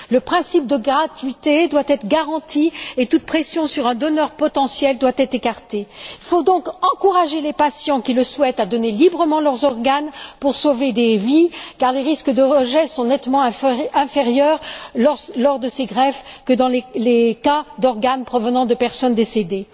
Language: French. Le principe de gratuité doit être garanti et toute pression sur un donneur potentiel doit être écartée. Il faut donc encourager les patients qui le souhaitent à donner librement leurs organes pour sauver des vies, car les risques de rejet sont nettement inférieurs lors de ces greffes que dans les cas d'organes provenant de personnes décédées.